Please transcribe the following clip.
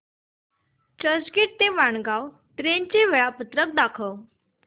चर्चगेट ते वाणगांव ट्रेन चे वेळापत्रक दाखव